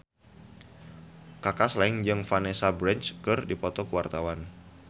Kaka Slank jeung Vanessa Branch keur dipoto ku wartawan